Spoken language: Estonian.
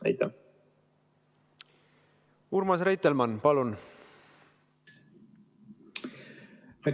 Urmas Reitelmann, palun!